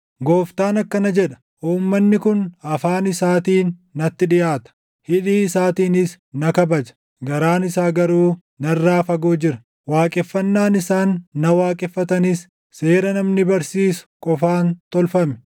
Gooftaan akkana jedha: “Uummanni kun afaan isaatiin natti dhiʼaata; hidhii isaatiinis na kabaja; garaan isaa garuu narraa fagoo jira. Waaqeffannaan isaan na waaqeffatanis seera namni barsiisu qofaan tolfame.